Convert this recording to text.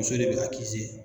Muso de be